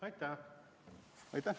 Aitäh!